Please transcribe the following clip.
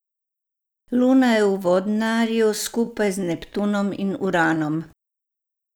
Luna je v vodnarju, skupaj z Neptunom in Uranom.